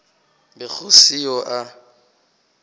be go se yo a